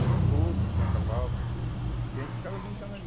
Tinha potro, tinha cavalo e a gente ficava brincando ali.